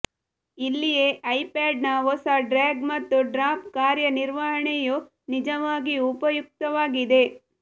ಇಲ್ಲಿಯೇ ಐಪ್ಯಾಡ್ನ ಹೊಸ ಡ್ರ್ಯಾಗ್ ಮತ್ತು ಡ್ರಾಪ್ ಕಾರ್ಯನಿರ್ವಹಣೆಯು ನಿಜವಾಗಿಯೂ ಉಪಯುಕ್ತವಾಗಿದೆ